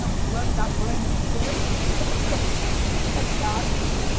Não, fulano dá banho em ciclano, ciclano minha casa.